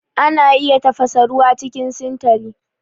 Ana iya tafasa ruwa cikin sintali